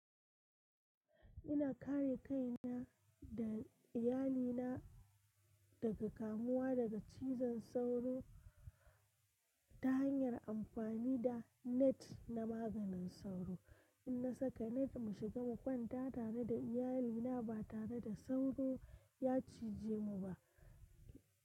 Ina kare kaina da iyalina daga kamuwa daga cizon sauro ta hanyar amfani da net na maganin sauro. In na saka net mu shiga mu kwanta tare da iyalina ba tare da sauro ya cije mu ba.